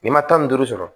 N'i ma tan ni duuru sɔrɔ